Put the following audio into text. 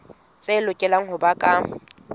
tse lokelang ho ba ka